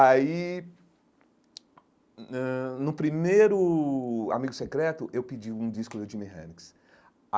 Aí, hum ãh no primeiro Amigo Secreto, eu pedi um disco do Jimi Hendrix.